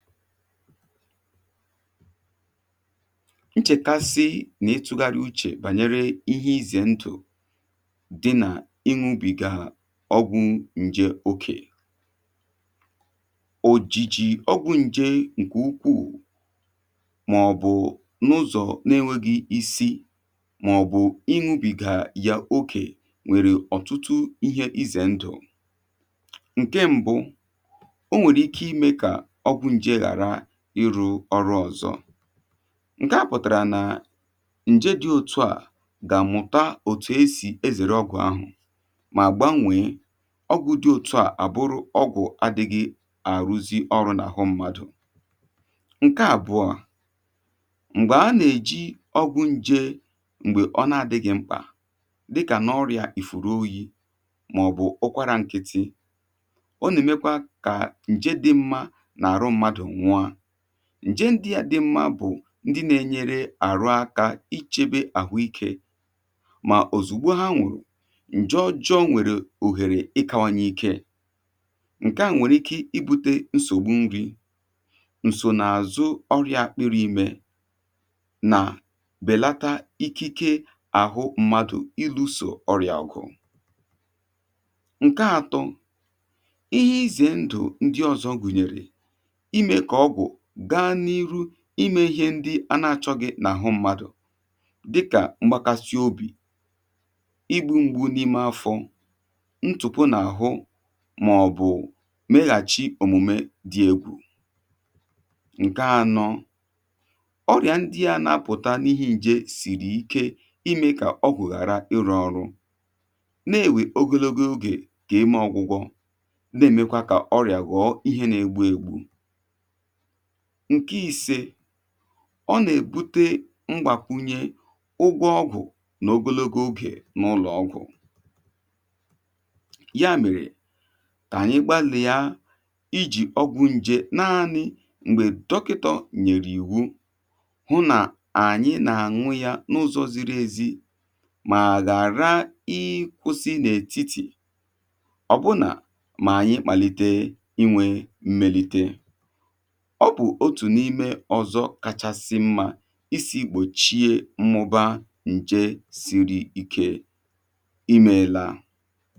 Nchèkàsị nà-ịtụ̇gharị uchè bànyere ihe izè ndụ̀ dị nà imu ubì ga ọgwụ̇ nje okè. Ojìjì ọgwụ̇ nje ǹkè ukwuù màọ̀bụ̀ n’ụzọ̀ na-enweghì isi màọ̀bụ̀ ịṅụubì ga yà okè nwèrè ọ̀tụtụ ihe izè ndụ̀. Nké ṁbụ̇, onwèrè ike ịmé kà ọgwụ njé hàrà ịrụ̇ ọrụ ọzọ, ǹke à pụ̀tàrà nà ǹje dị̇ òtu à gà mụ̀ta òtù e sì ezèrè ọgwụ̀ ahụ̀, mà gbanwèe ọgwụ̇ dị̇ òtu à àbụrụ ọgwụ̇ adị̇ghị àrụzi ọrụ n’àhụ mmadụ̀. Nkè àbụọ, m̀gbè a nà-èji ọgwụ̇ nje m̀gbè ọ na-adị̇ghị̇ mkpà dịkà n’ọrịa ìfùrù oyi̇ màọ̀bụ̀ ụkwarȧ ǹkị̀tị̀, o nà-èmekwa kà ǹje dị̇ mmȧ nà àrụ mmadụ nwụọ. Njé ndị̇à dị mma bụ̀ ndị nà-enyere àrụ aka i chėbė àhụ ikė, mà òzùgbo ha nwèrè ǹje ọjọọ nwèrè òhèrè ikawanye ikė, ǹke à nwèrè ike ibu̇tė nsògbu nri̇, nsò nà-àzụ ọrịà akpịrị imė nà bèlata ikike àhụ mmadụ̀ iluso ọrịà ọgụ̀. Nkè atọ, ihe ize ndụ̀ ndị ọzọ gụ̀nyèrè, ịmé kà ọgwụ̀ gaa n’iru imė ihe ndị a na-achọ̇ghị n’àhụ mmadụ̀ dịkà; mgbakasi obì, igbu̇ mgbú n’ime afọ̇, ntụ̀pụ n’àhụ màọ̀bụ̀ meghàchi òmùme dị egwù. Nkè anọ, ọrịà ndị́ á na-apụ̀ta n’ihe ǹjè sìrì ike imė kà ọgwụ̀ ghàra ịrọ̇ ọ̀rụ́, na-ewè ogologo ogè kà ime ọgwụ̇gwọ, na-èmekwa kà ọrịà gọ̀ọ ihe na-egbu ègbù. Nkè ise, ọ nà-èbute ngwàkwunye ụgwọ ọgwụ̀ n’ogologo ogè n’ụlọ̀ ọgwụ̀. Ya mèrè, kà ànyị gbalị̀ ya ijì ọgwụ̇ nje naanị m̀gbè dọkịtọ nyerè iwu hụ nà ànyị nà-àṅụ ya n’ụzọ ziri ezi mà ghàra ịkwụ̇sị n’ètitì. Ọbụ̇na mà ànyị kpàlite inwė mmelitè, ọ bụ otu n’ime ọzọ kachasị mma isi gbochie mmụba njé sírí ike. Iméélá.